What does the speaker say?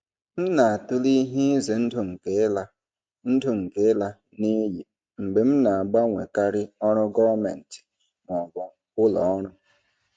M na-atụle ihe ize ndụ nke ịla ndụ nke ịla n'iyi mgbe m na-agbanwekarị ọrụ gọọmentị ma ọ bụ ụlọ ọrụ.